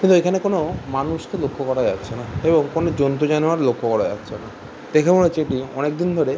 কিন্তু এখানে কোনো - ও মানুষকে লক্ষ করা যাচ্ছেনা এবং কোনো জন্তু জানোয়ার লক্ষ করা যাচ্ছেনা। দেখে মনে হচ্ছে এটি অনেক দিন ধরে --